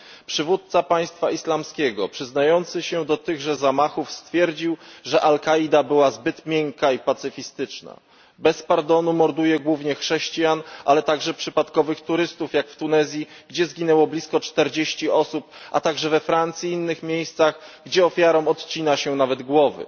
Przywódca Państwa Islamskiego, przyznający się do tychże zamachów, stwierdził, że Al Kaida była zbyt miękka i pacyfistyczna. Bez pardonu morduje głównie chrześcijan, ale także przypadkowych turystów, jak w Tunezji, gdzie zginęło blisko 40 osób, oraz we Francji i innych miejscach, gdzie ofiarom odcina się nawet głowy.